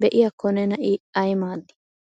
Be'iyakko nena I ay maadi?